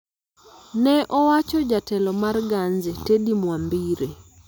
ne owacho jatelo mar Ganze, Teddy Mwambire.